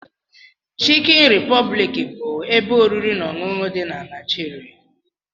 Chikin Republic bu ebe oriri na ọṅụṅụ di nq Naijiria.